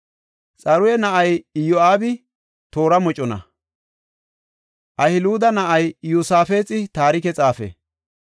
Xaruya na7ay Iyo7aabi toora mocona; Ahiluda na7ay Iyosaafexi taarike xaafe.